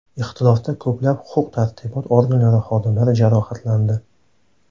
Ixtilofda ko‘plab huquq-tartibot organlari xodimlari jarohatlandi.